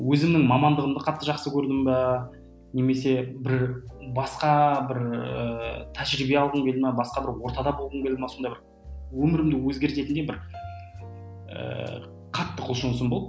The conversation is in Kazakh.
өзімнің мамандығымды қатты жақсы көрдім бе немесе бір басқа бір ііі тәжірибе алғым келді ме басқа бір ортада болғым келді ме сондай бір өмірімді өзгертетіндей бір ііі қатты құлшынысым болды